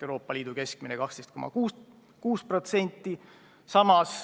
Euroopa Liidu keskmine on 12,6%.